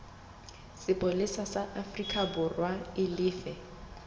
sepolesa sa aforikaborwa e lefe